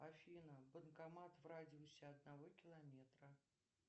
афина банкомат в радиусе одного километра